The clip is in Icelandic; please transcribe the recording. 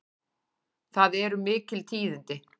Það eru mikil tíðindi!